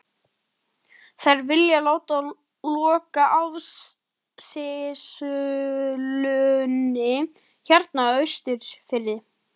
Þær vilja láta loka áfengisútsölunni hérna á Austurfirði!